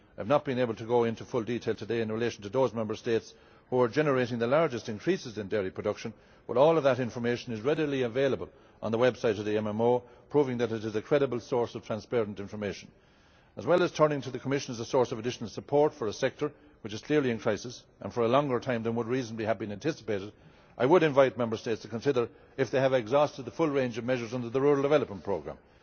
I have not been able to go into full detail today in relation to those Member States who are generating the largest increases in dairy production, but all of that information is readily available on the website of the MMO, proving that it is a credible source of transparent information. As well as turning to the Commission as a source of additional support for a sector which is clearly in crisis and for a longer time than would reasonably have been anticipated, I would invite Member States to consider if they have exhausted the full range of measures under the rural development programme.